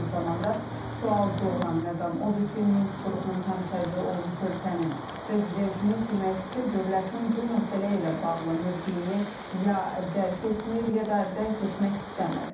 Eyni zamanda sual doğuran məqam odur ki, Minsk qrupunun həmsədri olmuş ölkənin prezidentinin köməkçisi dövlətinin bu məsələ ilə bağlı mövqeyini ya dərk etmir, ya da dərk etmək istəmir.